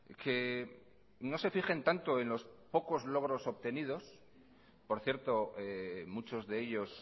que no se fijen tanto en los pocos logros obtenidos por cierto muchos de ellos